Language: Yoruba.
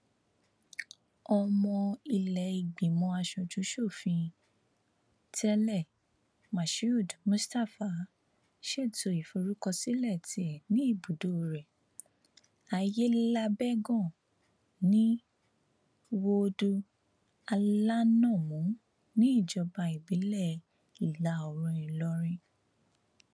ọmọ iléìgbìmọ asojúsòfin tẹlẹ mashood mustapha ṣètò ìforúkọsílẹ tiẹ ní ibùdó rẹ aiyelábẹgàn ní woodu alanamú níjọba ìbílẹ ìlàoòrùn ìlọrin